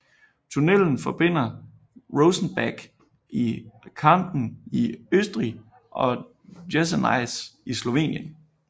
Tunnelen forbinder Rosenbach i Kärnten i Østrig og Jesenice i Slovenien